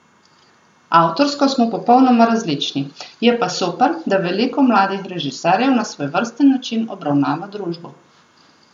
Avtorsko smo popolnoma različni, je pa super, da veliko mladih režiserjev na svojevrsten način obravnava družbo.